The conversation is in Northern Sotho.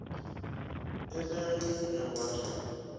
e le ge ba re